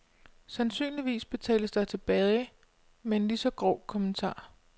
Sandsynligvis betales der tilbage med en lige så grov kommentar.